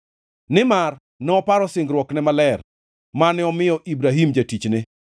Nimar noparo singruokne maler mane omiyo Ibrahim jatichne.